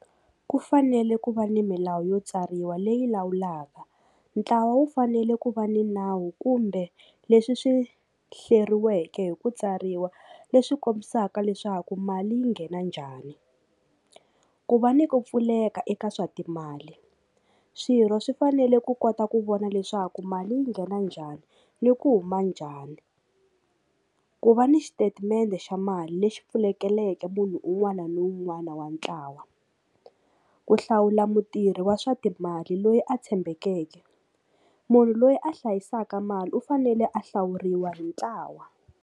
Ku fanele ku va ni milawu yo tsariwa leyi lawulaka ntlawa wu fanele ku va ni nawu kumbe leswi swi hleriweke hi ku tsariwa leswi kombisaka leswaku mali yi nghena njhani ku va ni ku pfuleka eka swa timali swirho swi fanele ku kota ku vona leswaku mali yi nghena njhani ni ku huma njhani ku va ni xitatimende xa mali lexi pfulekeleke munhu un'wana na un'wana wa ntlawa ku hlawula mutirhi wa swa timali loyi a tshembekeke munhu loyi a hlayisaka mali u fanele a hlawuriwa hi ntlawa.